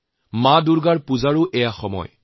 এতিয়া মা দুৰ্গাৰ বোধনৰ সময়